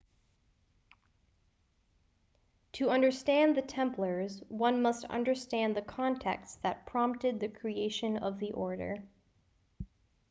to understand the templars one must understand the context that prompted the creation of the order